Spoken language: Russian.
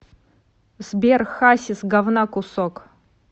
сбер хасис гавна кусок